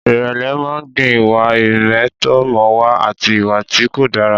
Ìrẹ̀lẹ̀ máa ń gbin ìwà ìmẹ̀tọ́mọ̀wà àti ìwà tí kò dára.